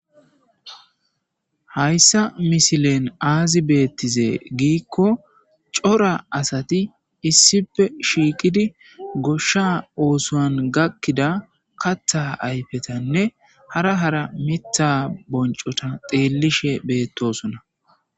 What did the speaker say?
Hayssa misilen aazi beettize giikko cora asati issife shiiqidi goshsha oosoan gakkida katha ayfetanne hara hara mitha boncota xeellishe beettosona.